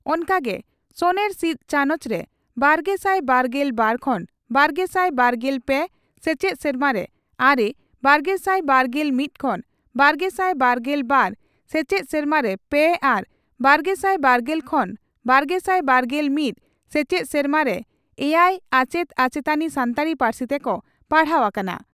ᱚᱱᱠᱟᱜᱮ ᱥᱚᱱᱮᱨ ᱥᱤᱫ ᱪᱟᱱᱚᱪ ᱨᱮ ᱵᱟᱨᱜᱮᱥᱟᱭ ᱵᱟᱨᱜᱮᱞ ᱵᱟᱨ ᱠᱷᱚᱱ ᱵᱟᱨᱜᱮᱥᱟᱭ ᱵᱟᱨᱜᱮᱞ ᱯᱮ ᱥᱮᱪᱮᱫ ᱥᱮᱨᱢᱟᱨᱮ ᱟᱨᱮ , ᱵᱟᱨᱜᱮᱥᱟᱭ ᱵᱟᱨᱜᱮᱞ ᱢᱤᱛ ᱠᱷᱚᱱ ᱵᱟᱨᱜᱮᱥᱟᱭ ᱵᱟᱨᱜᱮᱞ ᱵᱟᱨ ᱥᱮᱪᱮᱫ ᱥᱮᱨᱢᱟᱨᱮ ᱯᱮ ᱟᱨ ᱵᱟᱨᱜᱮᱥᱟᱭ ᱵᱟᱨᱜᱮᱞ ᱠᱷᱚᱱ ᱵᱟᱨᱜᱮᱥᱟᱭ ᱵᱟᱨᱜᱮᱞ ᱢᱤᱛ ᱥᱮᱪᱮᱫ ᱥᱮᱨᱢᱟᱨᱮ ᱮᱭᱟᱭ ᱟᱪᱮᱛ ᱟᱪᱮᱛᱟᱱᱤ ᱥᱟᱱᱛᱟᱲᱤ ᱯᱟᱹᱨᱥᱤ ᱛᱮᱠᱚ ᱯᱟᱲᱦᱟᱣᱜ ᱠᱟᱱᱟ ᱾